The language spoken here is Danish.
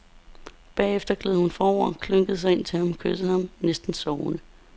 Bagefter gled hun forover, klyngede sig ind til ham, kyssede ham, næsten sovende.